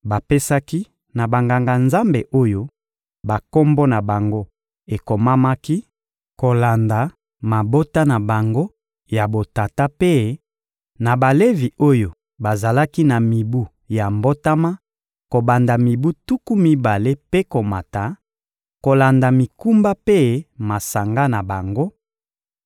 Bapesaki na Banganga-Nzambe oyo bakombo na bango ekomamaki kolanda mabota na bango ya botata mpe na Balevi oyo bazalaki na mibu ya mbotama kobanda mibu tuku mibale mpe komata, kolanda mikumba mpe masanga na bango;